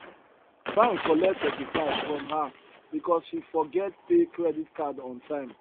bank collect 35 from her because she forget pay credit card on time